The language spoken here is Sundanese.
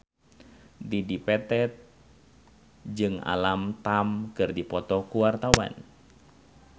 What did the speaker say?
Dedi Petet jeung Alam Tam keur dipoto ku wartawan